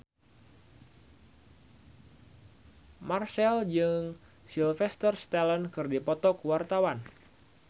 Marchell jeung Sylvester Stallone keur dipoto ku wartawan